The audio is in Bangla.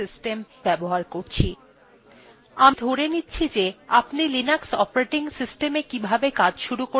আমি ধরে নিচ্ছি যে আপনি linux operating systemwe কিভাবে কাজ শুরু করতে হয় ত়া জানেন এবং মৌলিক র্নিদেশাবলী সম্বন্ধে আপনার কিছু ধারনার রয়েছে